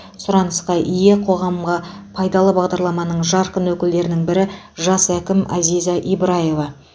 сұранысқа ие қоғамға пайдалы бағдарламаның жарқын өкілдерінің бірі жас әкім азиза ибраева